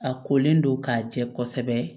A kolen don k'a jɛ kosɛbɛ